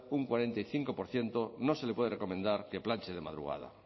un cuarenta y cinco por ciento no se le puede recomendar que planche de madrugada